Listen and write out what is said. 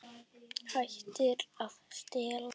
Hættir að stela.